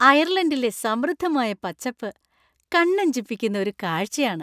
അയർലണ്ടിലെ സമൃദ്ധമായ പച്ചപ്പ് കണ്ണഞ്ചിപ്പിക്കുന്ന ഒരു കാഴ്ചയാണ്.